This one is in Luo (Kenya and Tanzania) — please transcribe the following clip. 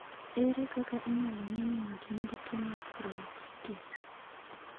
Ere kaka inyalo ng'e ni ng'ato nigi tuo mar choroiditis?